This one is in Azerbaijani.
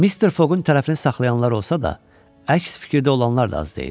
Mister Fogun tərəfini saxlayanlar olsa da, əks fikirdə olanlar da az deyildi.